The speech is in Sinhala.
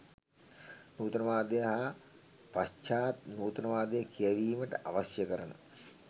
නූතනවාදය හා පශ්චාත් නූතනවාදය කියැවීමට අවශ්‍ය කරන